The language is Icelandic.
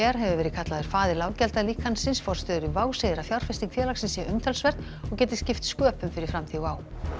hefur verið kallaður faðir forstjóri WOW segir að fjárfesting félagsins sé umtalsverð og geti skipt sköpum fyrir framtíð WOW